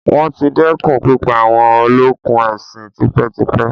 Wọ́n ti dẹ́kun pípa àwọn olókùn ẹṣin tipẹ́ tipẹ́.